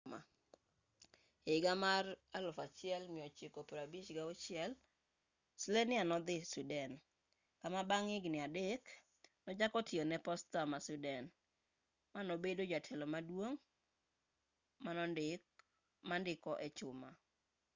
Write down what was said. ehiga mar 1956 slania nodhi sweden kama bang' higni adek nochako tiyo ne posta ma sweden manobedo jatelo maduong' mandiko echuma